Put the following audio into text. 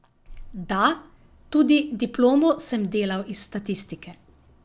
Da, tudi diplomo sem delal iz statistike.